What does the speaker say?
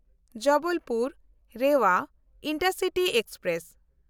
Jabalpur-Rewa intercity express